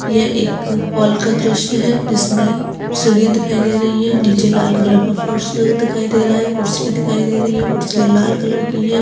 ये एक हॉल का दृश्य है जिसमे सीढ़िया दिखाई दे रही है नीचे लाल कलर का फर्श दिखाई दे रहा है कुर्सिया दिखाई दे रही है कुर्सिया लाल कलर की है।